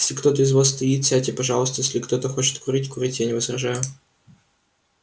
если кто-то из вас стоит сядьте пожалуйста если кто-то хочет курить курите я не возражаю